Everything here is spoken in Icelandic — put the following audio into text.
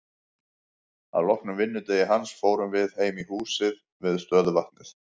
Að loknum vinnudegi hans fórum við heim í húsið við stöðuvatnið.